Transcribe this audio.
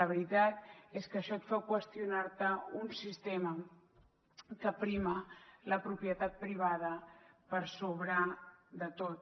la veritat és que això et fa qüestionar te un sistema que prima la propietat privada per sobre de tot